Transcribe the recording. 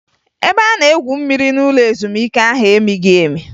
Ebe a na-egwu mmiri n'ụlọ ezumike ahụ emighi emi